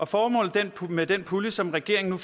formålet med den pulje som regeringen